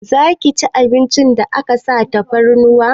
Zaki ci abincin da aka sa tafarnuwa?